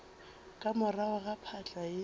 ka morago ga phahla ye